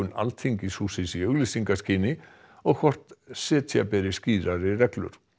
Alþingishússins í auglýsingaskyni og hvort setja beri skýrari reglur